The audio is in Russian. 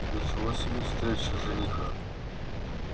ничего себе встреча жениха